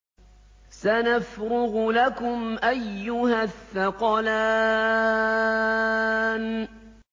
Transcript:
سَنَفْرُغُ لَكُمْ أَيُّهَ الثَّقَلَانِ